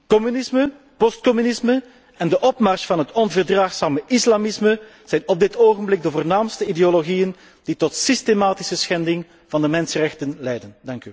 Communisme, post communisme en de opmars van het onverdraagzame islamisme zijn op dit ogenblik de voornaamste ideologieën die tot systematische schending van de mensenrechten leiden.